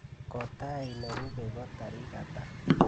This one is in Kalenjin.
Kotaai nerupe ko tarik ata?